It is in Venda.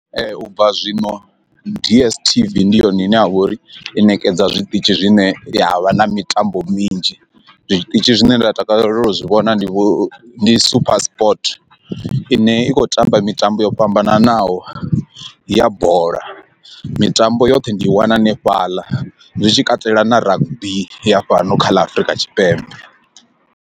U bva zwino d_s_t_v ndi yone ine ya vha uri i ṋekedza zwiṱitshi zwine ha vha na mitambo minzhi zwiṱitshi zwine nda takalela u zwi vhona ndi ndi super sport ine i khou tamba mitambo yo fhambananaho ya bola mitambo yoṱhe ndi i wana hanefhaḽa zwitshi katela na rugby ya fhano kha ḽa Afrika Tshipembe.